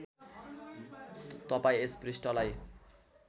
तपाईँ यस पृष्ठलाई